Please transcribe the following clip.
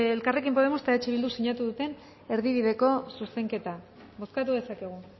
elkarrekin podemos eta eh bilduk sinatu duten erdibideko zuzenketa bozkatu dezakegu